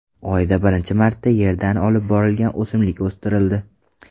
Oyda birinchi marta Yerdan olib borilgan o‘simlik o‘stirildi.